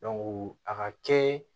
a ka kɛ